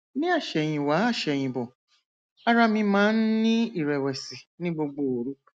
ní àsẹyìnwá àsẹyìnbò ara mi máa ń ní ìrẹwẹsì ní gbogbo òru